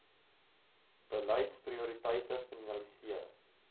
beleids prioriteite finaliseer